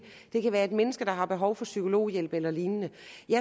det kan være et menneske der har behov for psykologhjælp eller lignende